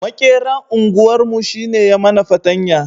Maƙeran unguwar mu shi ne ya mana patanya